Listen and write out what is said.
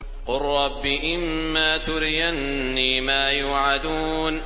قُل رَّبِّ إِمَّا تُرِيَنِّي مَا يُوعَدُونَ